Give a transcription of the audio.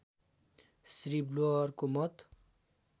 श्री व्हुलरको मत